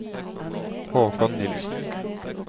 Haakon Nielsen